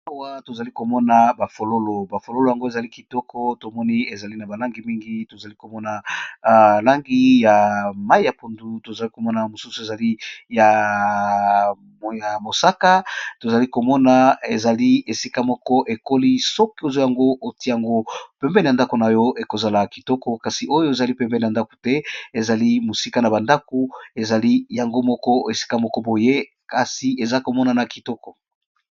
Awa, tozali komona bafololo. Ba fololo yango ezali kitoko. Tomoni ezali na balangi mingi, tozali komona, langi ya mai ya pondu; tozali komona mosusu ezali ya mosaka, tozali komona ezali esika moko ekoli. Soki ozwi yango, otye yango pembeni ya ndako na yo,p ekozala kitoko; kasi, oyo ezali pembeni ya ndako te; ezali mosika na bandako, ezali yango moko; esika moko boye. Ezo monana kitoko.